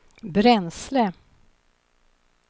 bränsle